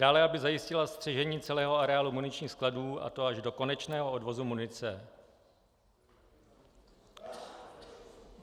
Dále - aby zajistila střežení celého areálu muničních skladů, a to až do konečného odvozu munice.